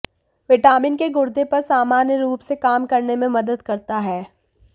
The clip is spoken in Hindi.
विटामिन के गुर्दे पर सामान्य रूप से काम करने में मदद करता है